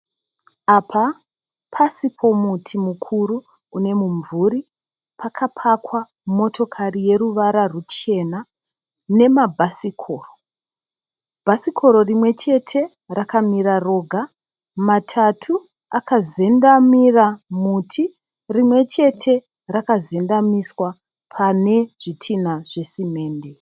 Apa pasi pomuti mukuru une mumvuri. Pakapakwa motokari yeruwara ruchena nemabhasikoro. Bhasikoro rimwechete rakamira roga matatu akazendamira muti rimwechete rakazendamiswa pane zvitinha zve simende.